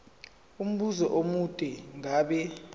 umbuzo omude ngabe